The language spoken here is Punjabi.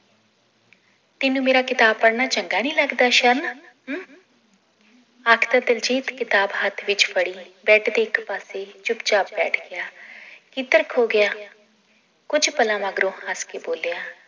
ਤੈਨੂੰ ਮੇਰਾ ਕਿਤਾਬ ਪੜ੍ਹਨਾ ਚੰਗਾ ਨੀ ਲੱਗਦਾ ਸ਼ਰਨ ਅੱਜ ਤਾਂ ਦਿਲਜੀਤ ਕਿਤਾਬ ਹੱਥ ਵਿਚ ਫੜੀ ਬੈਡ ਦੇ ਇੱਕ ਪਾਸੇ ਚੁੱਪ ਛਾਪ ਬੈਠ ਗਿਆ ਕਿੱਧਰ ਖੋ ਗਿਆ ਕੁਛ ਪਲਾਂ ਮਗਰੋਂ ਹੱਸ ਕੇ ਬੋਲਿਆ